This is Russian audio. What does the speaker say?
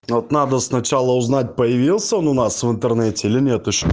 но вот надо сначала узнать появился он у нас в интернете или нет ещё